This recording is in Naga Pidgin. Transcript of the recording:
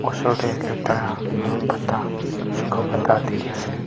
osor tey aro pata suka pata dikhi ase.